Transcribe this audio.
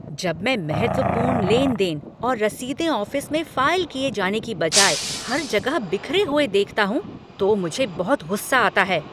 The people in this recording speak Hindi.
जब मैं महत्वपूर्ण लेन देन और रसीदें ऑफिस में फाइल किए जाने के बजाय हर जगह बिखरे हुए देखता हूँ तो मुझे बहुत गुस्सा आता है ।